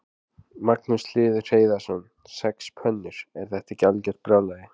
Magnús Hlynur Hreiðarsson: Sex pönnur, er þetta ekki algjört brjálæði?